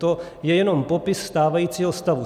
To je jenom popis stávajícího stavu.